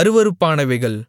அருவருப்பானவைகள்